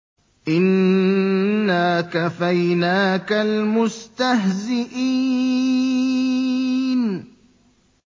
إِنَّا كَفَيْنَاكَ الْمُسْتَهْزِئِينَ